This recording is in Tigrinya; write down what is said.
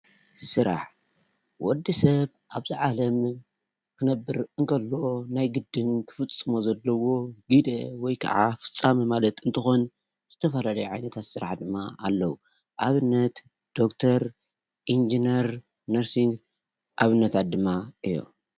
ስራሕ፦ ወዲሰብ ኣብዛ ዓለም ክነብር እንተሎ ናይ ግድን ክፍፅሞ ዘለዎ ግደ ወይ ከዓ ፍፃመ ማለት እንትኾን ዝተፈላለዩ ዓይነት ስራሕ እውን ኣለው፡፡ ኣብነት ዶክተር፣ ኢንጅነር፣ ነርሲንግ ኣብነታት ድማ እዮም፡፡